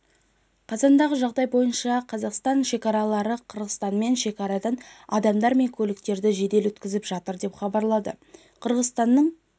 қазандағы жағдай бойынша қазақстан шекарашылары қырғызстанмен шекарадан адамдар мен көліктерді жедел өткізіп жатыр деп хабарлады қырғызстанның